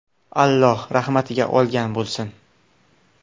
Alloh rahmatiga olgan bo‘lsin!